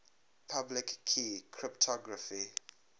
public key cryptography